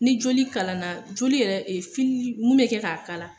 Ni joli kalan na ,joli yɛrɛ fili mun bɛ kɛ k'a kalan.